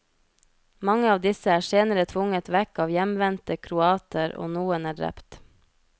Mange av disse er senere tvunget vekk av hjemvendte kroater, og noen er drept.